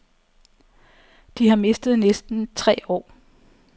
De har mistet næsten tre år.